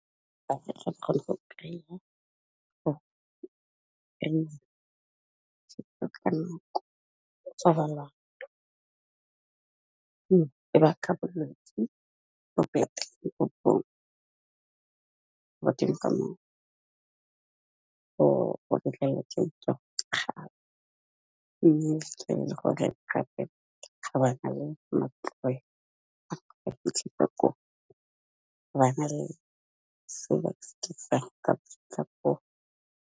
Ga re tlo khona go kry-a .